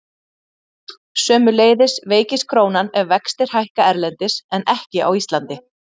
Sömuleiðis veikist krónan ef vextir hækka erlendis en ekki á Íslandi.